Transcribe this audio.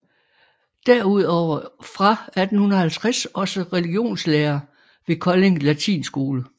Derudover fra 1850 også religionslærer ved Kolding Latinskole